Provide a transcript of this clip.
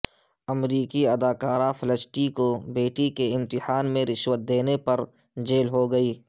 امریکی اداکارہ فلسٹی کو بیٹی کے امتحان میں رشوت دینے پر جیل ہو گئی